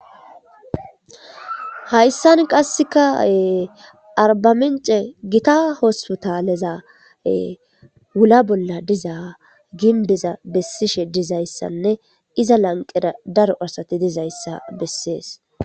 Hayssan qassika arbamincen gita hospitaleza hula bolla diza gimbbeza bessishe dizayssanne iza lanqqera daro asati dizayssa bessees.